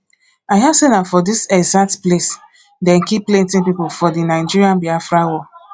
i hear say na for dis exact place dey kill plenty people for the nigerian-biafra war